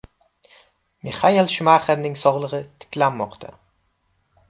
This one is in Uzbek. Mixael Shumaxerning sog‘lig‘i tiklanmoqda.